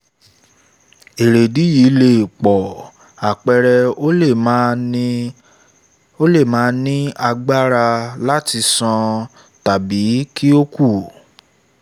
èrèdìí yìí lè pọ̀ àpẹẹrẹ ó le màa ní agbára láti sán tàbí kí ó kú